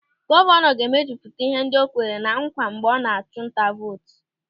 Gọvanọ ga-emejupụta ihe ndị o kwere ná nkwa mgbe ọ na-achụ nta vootu.